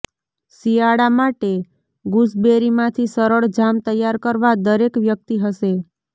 શિયાળા માટે ગૂસબેરીમાંથી સરળ જામ તૈયાર કરવા દરેક વ્યક્તિ હશે